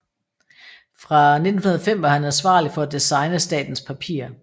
Fra 1905 var han ansvarlig for at designe statens papirer